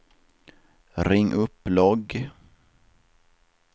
ring upp logg